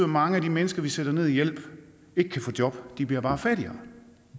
mange af de mennesker vi sætter ned i hjælp ikke kan få job de bliver bare fattigere